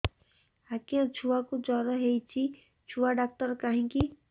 ଆଜ୍ଞା ଛୁଆକୁ ଜର ହେଇଚି ଛୁଆ ଡାକ୍ତର କାହିଁ କି